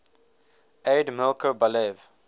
aide milko balev